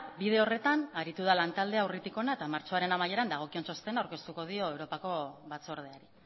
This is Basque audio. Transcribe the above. bide horretan aritu da lantaldea urritik hona eta martxoaren amaieran dagokion txostena aurkeztuko dio europako batzordeari